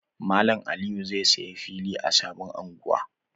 Malam Aliyu zai saya fili a sabon unguwa.